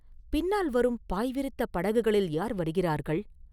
பின்னால் வரும் பாய் விரித்த படகுகளில் யார் வருகிறார்கள்?